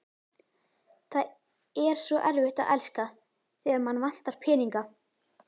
Það er svo erfitt að elska, þegar mann vantar peninga